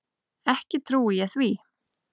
Ekki trúi ég því.